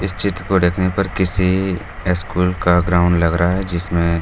इस चित्र को देखने पर किसी स्कूल का ग्राउंड